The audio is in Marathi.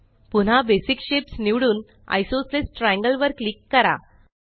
पुन्हा बेसिक शेप्स निवडून आयसोसेलेस ट्रायंगल वर क्लिक करा